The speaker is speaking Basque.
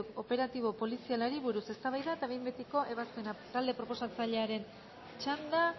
operatibo polizialari buruz eztabaida eta behin betiko ebazpena talde proposatzailearen txanda